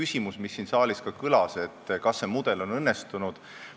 Siin saalis kõlas ka küsimus, kas see mudel on õnnestunud.